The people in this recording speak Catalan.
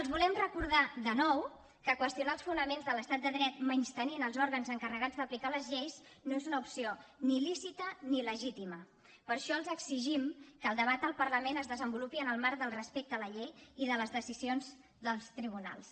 els volem recordar de nou que qüestionar els fonament de l’estat de dret menystenint els òrgans encarregats d’aplicar les lleis no és una opció ni lícita ni legítima per això els exigim que el debat al parlament es desenvolupi en el marc del respecte a la llei i de les decisions dels tribunals